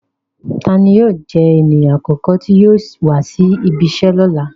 Tani yóò jẹ eniyan akọkọ ti yóò wa si ibìíṣẹ lọla?